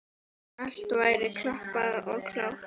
Allt væri klappað og klárt.